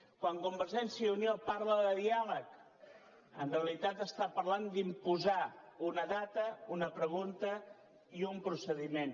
quan convergència i unió parla de diàleg en realitat està parlant d’imposar una data una pregunta i un procediment